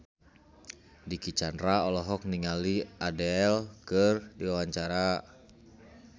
Dicky Chandra olohok ningali Adele keur diwawancara